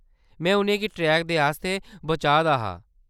में उʼनें गी ट्रेक दे आस्तै बचा दा हा।